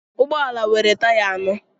Ụgbọ ala nwere taya anọ